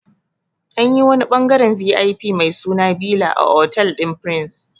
Anyi wani ɓangaren VIP mai suna bila a otal ɗin prince